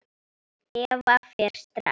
Eva fer strax.